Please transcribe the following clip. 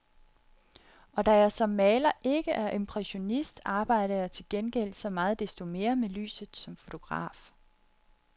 Og da jeg som maler ikke er impressionist, arbejder jeg til gengæld så meget desto mere med lyset som fotograf.